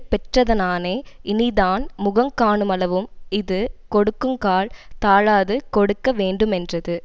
பெற்றதனானே இனிதான முகங் காணுமளவும் இது கொடுக்குங்கால் தாழாது கொடுக்க வேண்டுமென்றது